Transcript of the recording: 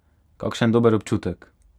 Kakšen dober občutek!